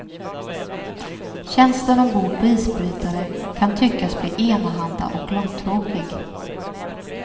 Tjänsten ombord på isbrytare kan tyckas bli enahanda och långtråkig.